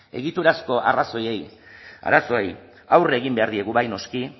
egiturazko arazoei aurre egin behar diegu bai noski